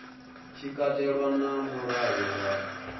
tshi katelwa na mulayo wa